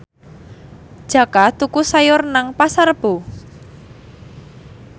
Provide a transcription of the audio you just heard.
Jaka tuku sayur nang Pasar Rebo